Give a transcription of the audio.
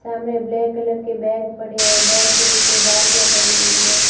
सामने black colour के bag पड़े हैं बैग के पीछे बाल्टियां पड़ी हुई है।